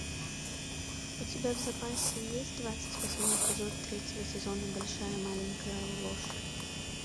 у тебя в запасе есть двадцать восьмой эпизод третьего сезона большая маленькая ложь